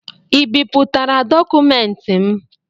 Ị bipụtara dọkụmentị m?